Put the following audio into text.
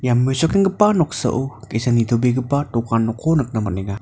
ia mesokenggipa noksao ge·sa nitobegipa dokanko nikna man·enga.